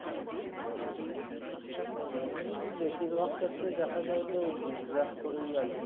এটা mainly বেশিরভাগ ক্ষেত্রে দেখা যায়যে ওই zig zag করেই আরকি,